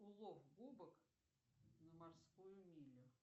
улов губок на морскую милю